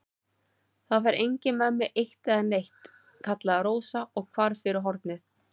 Það fer enginn með mig eitt né neitt, kallaði Rósa og hvarf fyrir hornið.